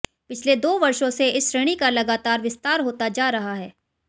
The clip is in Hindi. पिछले दो वर्षों से इस श्रेणी का लगातार विस्तार होता जा रहा है